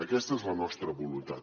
aquesta és la nostra voluntat